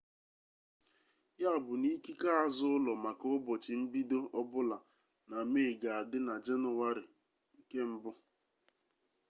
ya bụ na ikike azụụlọ maka ụbọchị mbido ọbụla na mee ga-adị na jenụwarị 1